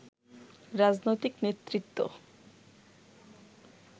রাজনৈতিক নেতৃত্ব